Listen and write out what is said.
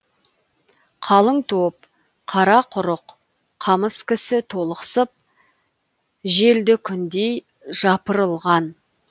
қалың топ қара құрық қамыс кісі толықсып желді күндей жапырылған